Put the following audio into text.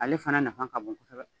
Ale fana nafa ka bon kɔsɛbɛ.